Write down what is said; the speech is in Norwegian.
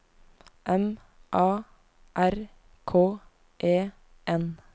M A R K E N